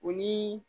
O ni